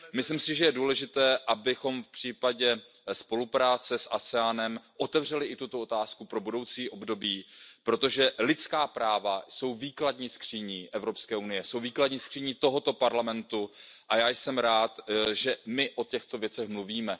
Myslím si, že je důležité, abychom v případě spolupráce s ASEAN otevřeli i tuto otázku pro budoucí období, protože lidská práva jsou výkladní skříní Evropské unie, výkladní skříní Evropského parlamentu, a já jsem rád, že o těchto věcech mluvíme.